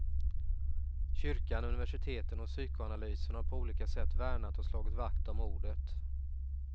Kyrkan, universiteten och psykoanalysen har på olika sätt värnat och slagit vakt om ordet.